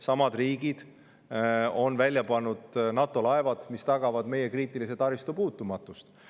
Samad riigid on välja pannud NATO laevad, mis tagavad meie kriitilise taristu puutumatust.